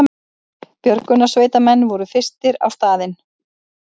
Björgunarsveitarmenn voru fyrstir á staðinn